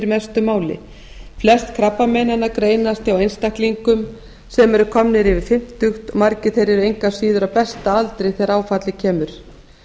mestu máli flest krabbameinanna greinast hjá einstaklingum sem eru komnir yfir fimmtugt margir þeirra eru engu að síður á besta aldri þegar áfallið kemur